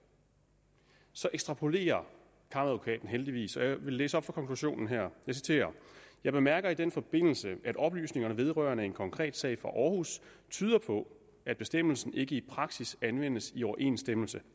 så ekstrapolerer kammeradvokaten heldigvis jeg vil læse op fra konklusionen her jeg bemærker i den forbindelse at oplysningerne vedrørende en konkret sag fra aarhus tyder på at bestemmelsen ikke i praksis anvendes i overensstemmelse